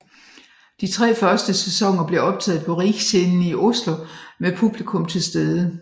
De tre første sæsoner blev optaget på Riksscenen i Oslo med publikum tilstede